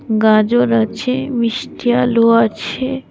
গাজর আছে মিষ্টি আলু আছে।